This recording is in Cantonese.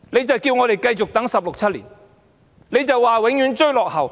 政府叫我們繼續等候16年、17年，永遠說追落後。